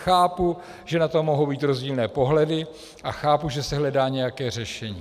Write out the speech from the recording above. Chápu, že na to mohou být rozdílné pohledy, a chápu, že se hledá nějaké řešení.